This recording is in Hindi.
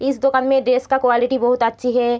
इस दोकान में ड्रेस की क्वालिटी बहुत अच्छी है।